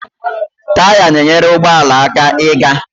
Taya na-enyere ụgbọala aka ịga